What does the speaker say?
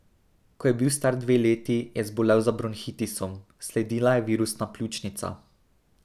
Ko je bil star dve leti, je zbolel za bronhitisom, sledila je virusna pljučnica.